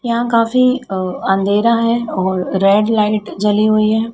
यहां काफी अ अंधेरा हैं और रेड लाइट जली हुईं हैं।